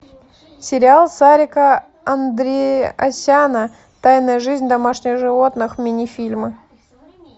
сериал сарика андреасяна тайная жизнь домашних животных минифильмы